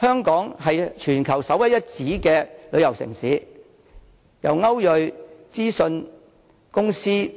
香港是全球首屈一指的旅遊城市，在歐睿信息諮詢公司